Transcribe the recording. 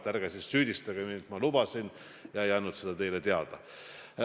Ärge siis süüdistage mind, et ma lubasin, aga ei andnud seda teile teada.